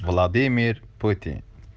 владимир путин